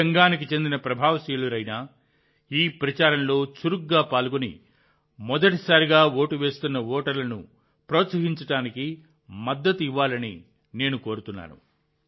ఏ రంగానికి చెందిన ప్రభావశీలురైనా ఈ ప్రచారంలో చురుకుగా పాల్గొని మొదటిసారిగా ఓటు వేస్తున్న ఓటర్లను ప్రోత్సహించడానికి మద్దతు ఇవ్వాలని నేను కోరుతున్నాను